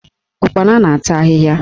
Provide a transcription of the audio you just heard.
Ụkpana na-ata ahịhịa.